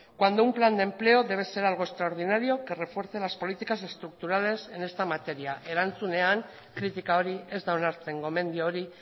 cuando un plan de empleo debe ser algo extraordinario que refuerce las políticas estructurales en esta materia erantzunean kritika hori ez da onartzen gomendio hori